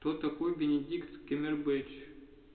кто такой бенедикт камбербэтч